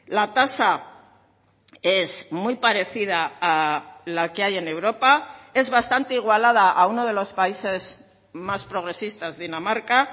la tasa es muy parecida a la que hay en europa es bastante igualada a uno de los países más progresistas dinamarca